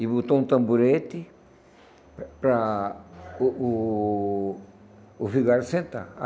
E botou um tamborete para o o o Vigário sentar.